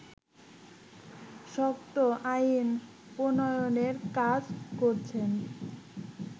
শক্ত আইন প্রনয়নের কাজ করছেন